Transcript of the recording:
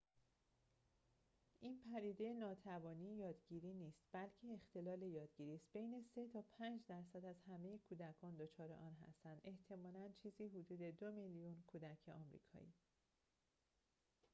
این پدیده ناتوانی یادگیری نیست بلکه اختلال یادگیری است بین ۳ تا ۵ درصد از همه کودکان دچار آن هستند احتمالاً چیزی حدود ۲ میلیون کودک آمریکایی